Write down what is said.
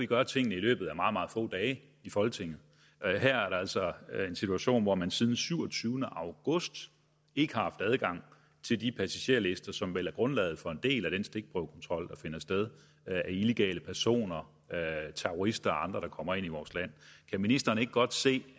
gøre tingene i løbet af meget meget få dage i folketinget her er der altså en situation hvor man siden syvogtyvende august ikke har haft adgang til de passagerlister som vel er grundlaget for en del af den stikprøvekontrol der finder sted af illegale personer terrorister og andre der kommer ind i vores land kan ministeren ikke godt se